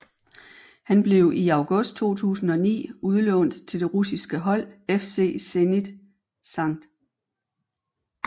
Han blev i august 2009 udlånt til det russiske hold FC Zenit St